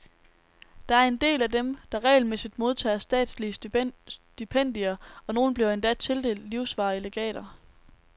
Der er en del af dem, der regelmæssigt modtager statslige stipendier, og nogle bliver endda tildelt livsvarige legater.